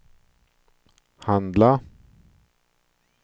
handla